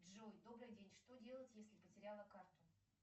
джой добрый день что делать если потеряла карту